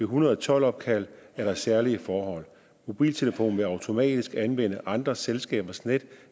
hundrede og tolv opkald er der særlige forhold mobiltelefonen vil automatisk anvende andre selskabers net